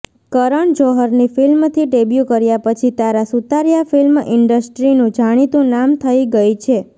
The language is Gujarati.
કરણ જોહરની ફિલ્મથી ડેબ્યુ કર્યા પછી તારા સુતારિયા ફિલ્મ ઇન્ડસ્ટ્રીનું જાણીતું નામ થઇ ગઈ છે